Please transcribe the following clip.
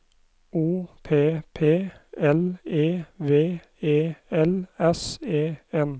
O P P L E V E L S E N